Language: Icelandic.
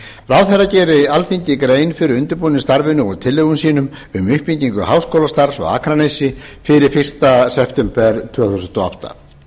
ráðherra geri alþingi grein fyrir undirbúningsstarfinu og tillögum sínum um uppbyggingu háskólastarfs á akranesi fyrir fyrsta september tvö þúsund og átta